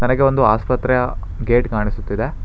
ನನಗೆ ಒಂದು ಆಸ್ಪತ್ರೆಯ ಗೇಟ್ ಕಾಣಿಸುತ್ತಿದೆ.